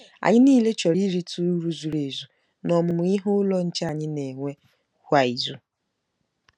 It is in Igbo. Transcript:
Anyị niile chọrọ irite uru zuru ezu n'Ọmụmụ Ihe Ụlọ Nche anyị na-enwe kwa izu.